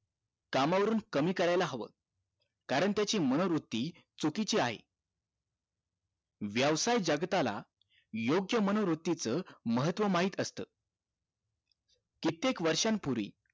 कामावरून कमी करायला हवं कारण त्याची मनोवृत्ती चुकीची आहे व्यवसाय जगताला योग्य मनोवृत्ती च महत्व माहित असत कित्येक वर्षांपूर्वी